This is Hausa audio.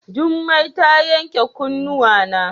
Jummai ta yanke kunnuwana.